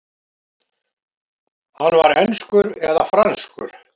Hann var enskur eða franskur.